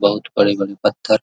बहुत बड़े-बड़े पत्थर --